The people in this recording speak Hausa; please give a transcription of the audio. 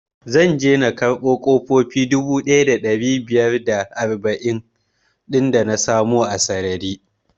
Zan je na karɓo ƙofofi dubu ɗaya da ɗari biyar da arba'in din idan na samu sarari